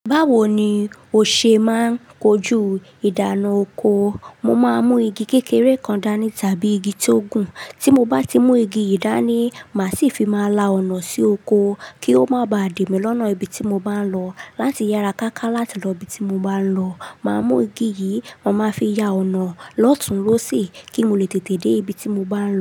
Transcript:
Báwo ni o ṣe máa ń kojú ìdáná oko? Mo máa ń mú igi kékeré kan dání tàbí igi tó gùn. Tí mo bá ti mú igi yìí dání, màá sì fi máa la ọ̀nà sí oko kí ó má ba à dè mí lọ́nà ibi tí mo bá ń lọ. Láti yára ká ká láti lọ ibi tí mo bá ń lọ, màá mú igi yìí, ma máa fi ya ọ̀nà lọ́tun, lóṣì kí mo lè tètè dé ibi tí mo bá ń lọ.